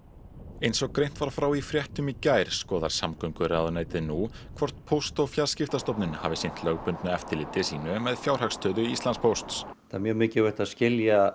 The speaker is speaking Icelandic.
eins og greint var frá í fréttum í gær skoðar samgönguráðuneytið nú hvort Póst og fjarskiptastofnun hafi sinnt lögbundnu eftirliti sínu með fjárhagsstöðu Íslandspósts það er mjög mikilvægt að skilja